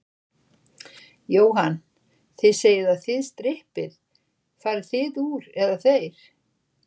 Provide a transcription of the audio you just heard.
Jóhann: Þið segið að þið strippið, farið þið úr, eða þeir?